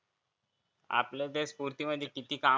आपलं तर स्फुर्तीमध्ये किती काम